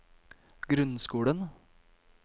grunnskolen